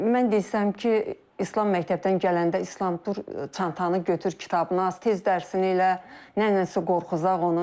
Mən desəm ki, İslam məktəbdən gələndə İslam dur, çantanı götür, kitabını aç, tez dərsini elə, nənənsə qorxuzacaq onu.